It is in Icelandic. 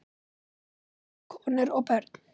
Einkum konur og börn.